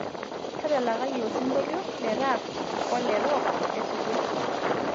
tadalakaki osingolio le rap ole rock esuja